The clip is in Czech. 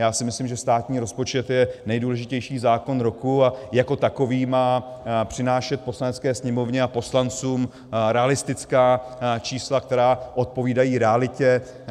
Já si myslím, že státní rozpočet je nejdůležitější zákon roku a jako takový má přinášet Poslanecké sněmovně a poslancům realistická čísla, která odpovídají realitě.